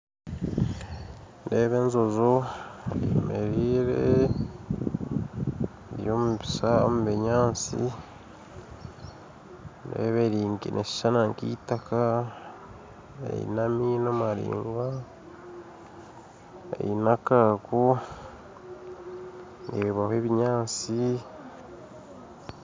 Nindeeba enjojo eyemeriire eri omu binyatsi nindeeba neeshushana nkaitaka eine amaino maringwa eine akaako ndeebaho ebinyatsi